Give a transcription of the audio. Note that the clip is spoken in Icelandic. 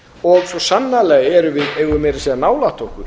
og svo sannarlega eigum við meira að segja nálægt okkur